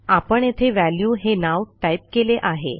आपण येथे व्हॅल्यू हे नाव टाईप केले आहे